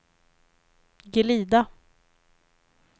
glida